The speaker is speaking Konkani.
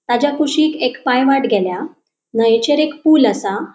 ताज्या कुशिक एक पाय वाट गेल्या न्हयचेर एक पुल आसा.